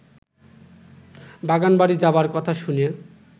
বাগানবাড়ি যাবার কথা শুনে